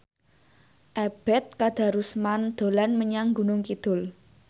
Ebet Kadarusman dolan menyang Gunung Kidul